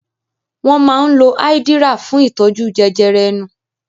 Wọ́n máa ń lo Áídíríà fún ìtọ́jú jẹjẹrẹ ẹnu.